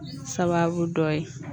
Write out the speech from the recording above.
Sababu dɔ ye